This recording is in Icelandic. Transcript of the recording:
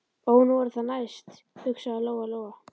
Ó, nú er það næst, hugsaði Lóa Lóa.